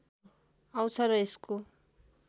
आउँछ र यसको